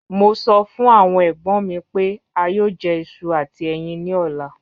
Mo sọ fun awon egbon mi pe a yoo jẹ iṣu ati ẹyin ni ọla.